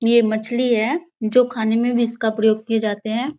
ये मछली हैजो खाने मे भी इसका प्रयोग किए जाते हैं ।